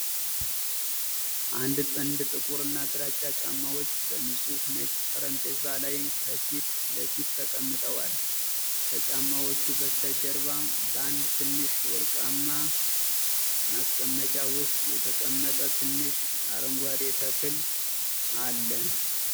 አንድ ጥንድ ጥቁርና ግራጫ ጫማዎች በንጹህ ነጭ ጠረጴዛ ላይ ከፊት ለፊት ተቀምጠዋል። ከጫማዎቹ በስተጀርባ በአንድ ትንሽ ወርቃማ ማስቀመጫ ውስጥ የተቀመጠ ትንሽ አረንጓዴ ተክል አለ።